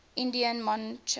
indian monarchs